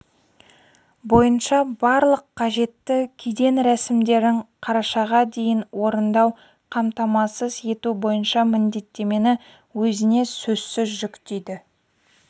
бойынша барлық қажетті кеден рәсімдерін қарашаға дейін орындау қамтамасыз ету бойынша міндеттемені өзіне сөзсіз жүктейді